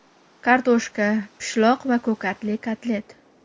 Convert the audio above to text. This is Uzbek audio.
Kartoshka, pishloq va ko‘katli kotlet.